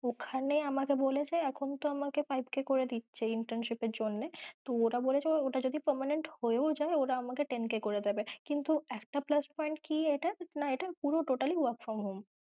ওখানে আমাকে বলেছে এখন তো আমাকে five k করে দিচ্ছে internship এর জন্যে তো ওরা বলেছে ওটা যদি permanent হয়ে যায় ওরা আমাকে ten k করে দেবে কিন্তু একটা plus point কি এটা না এটা পুরো totally work from home